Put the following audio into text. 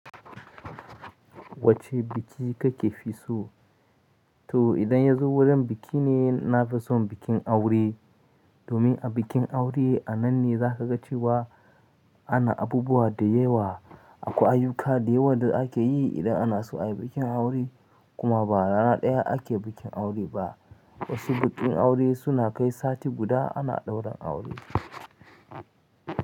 Wacce biki kake fi so? To idan ya zo wurin biki ne, na fi son bikin aure. Domin a bikin aure a nan ne za ka ga cewa ana abubuwa da yawa. Akwai ayyuka da yawa da ake yi idan ana so a yi bikin aure, kuma ba rana ɗaya ake bikin aure ba. Wasu bukin aure suna kai sati guda ana ɗaura aure.